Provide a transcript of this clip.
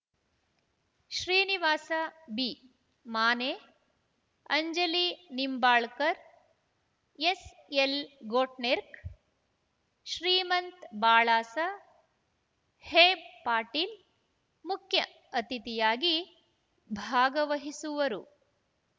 Srinivasa Bimane Anjali Nimbalkar S L Ghotnekar Shrimant Balasaheb Patil ಮುಖ್ಯ ಅತಿಥಿಯಾಗಿ ಭಾಗವಹಿಸುವರು